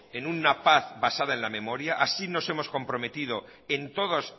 en una paz basada en la memoria así nos hemos comprometido en todos